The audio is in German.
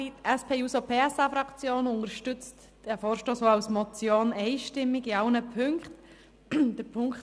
Die SP-JUSO-PSA-Fraktion unterstützt diesen Vorstoss auch als Motion einstimmig in allen Ziffern.